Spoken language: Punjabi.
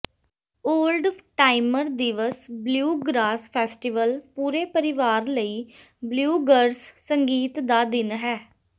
ਓਲਡ ਟਾਈਮਰ ਦਿਵਸ ਬਲਿਊਗ੍ਰਾਸ ਫੈਸਟੀਵਲ ਪੂਰੇ ਪਰਿਵਾਰ ਲਈ ਬਲਿਊਗਰਸ ਸੰਗੀਤ ਦਾ ਦਿਨ ਹੈ